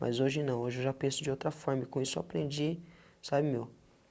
Mas hoje não, hoje eu já penso de outra forma e com isso aprendi, sabe meu?